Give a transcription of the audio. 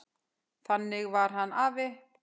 Þannig var hann afi.